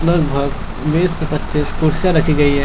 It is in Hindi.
लगभग बीस से पच्चीस कुर्सियां रखी गई है।